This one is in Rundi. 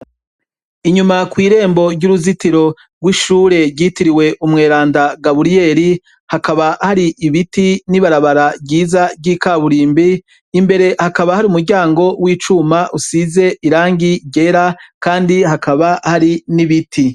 Inyuma ku irembo ry'uruzitiro rw'ishure ryitiriwe umweranda gabuliyeri hakaba hari ibiti n'ibarabara ryiza ry'ikaburimbi imbere hakaba hari umuryango w'icuma usize irangi ryera kandi hakaba hari n'ibiti.